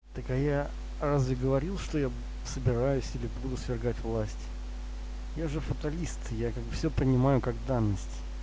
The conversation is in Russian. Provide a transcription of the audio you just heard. так а я разве говорил что я собираюсь или буду свергать власть я же фаталист я все понимаю как данность